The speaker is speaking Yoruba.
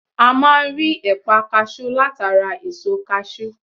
A máa n rí ẹ̀pà kasú látara èso kasú